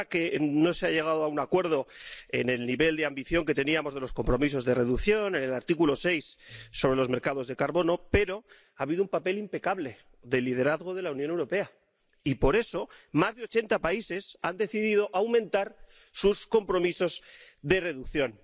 Es verdad que no se ha llegado a un acuerdo en el nivel de ambición que teníamos de los compromisos de reducción, en el artículo 6 sobre los mercados de carbono, pero ha habido un papel impecable de liderazgo de la Unión Europea, y, por eso, más de ochenta países han decidido aumentar sus compromisos de reducción.